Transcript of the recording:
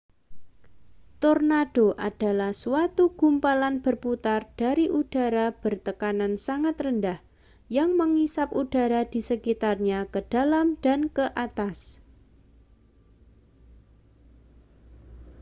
tornado adalah suatu gumpalan berputar dari udara bertekanan sangat rendah yang mengisap udara di sekitarnya ke dalam dan ke atas